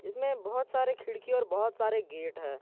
इसमें बहोत सारे खिड़की और बहोत सारे गेट हैं।